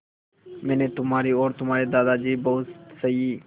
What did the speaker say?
मैंने तुम्हारी और तुम्हारे दादाजी की बहुत सही